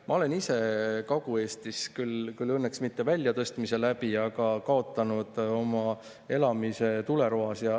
Ma olen ise Kagu-Eestis kaotanud oma elamise, küll mitte väljatõstmise, aga tuleroaks saamise läbi.